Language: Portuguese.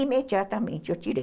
Imediatamente eu tirei.